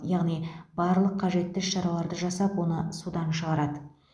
яғни барлық қажетті іс шараларды жасап оны судан шығарады